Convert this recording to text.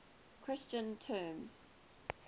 christian terms